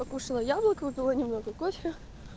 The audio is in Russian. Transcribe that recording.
покушала яблоко выпила немного кофе